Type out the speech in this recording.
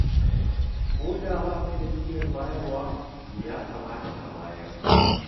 Ko da ba ka da niyyar bayarwa, to ya kamata ka bayar.